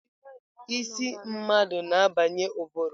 Isi mmadụ na-abanye ụbụrụ.